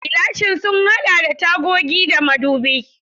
Gilashin sun haɗa da tagogi da madubai.